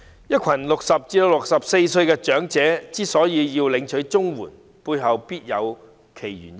一群60歲至64歲的長者要領取綜援，背後必有其原因。